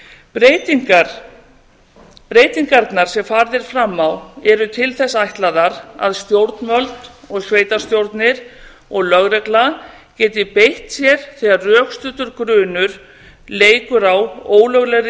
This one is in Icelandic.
breytingarnar sem farið er fram á eru til þess ætlaðar að stjórnvöld sveitarstjórnir og lögregla geti beitt sér þegar rökstuddur grunur leikur á ólöglegri